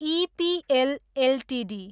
EPL Ltd